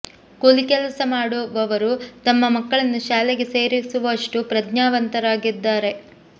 ಕೂಲಿ ಕೆಲಸ ಮಾಡು ವವರು ತಮ್ಮ ಮಕ್ಕಳನ್ನು ಶಾಲೆಗೆ ಸೇರಿಸು ವಷ್ಟು ಪ್ರಜ್ಞಾನವಂತರಾಗಿದ್ದಾರೆ